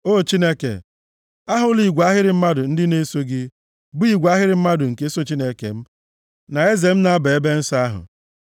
O Chineke, ahụla igwe ahịrị mmadụ ndị na-eso gị, bụ igwe ahịrị mmadụ nke so Chineke m, na Eze m na-aba nʼebe nsọ ahụ.